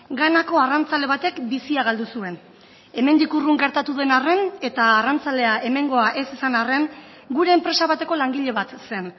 ganako arrantzale batek bizia galdu zuen hemendik urrun gertatu den arren eta arrantzalea hemengoa ez izan arren gure enpresa bateko langile bat zen